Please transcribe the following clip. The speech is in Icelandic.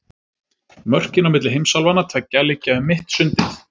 Mörkin á milli heimsálfanna tveggja liggja um mitt sundið.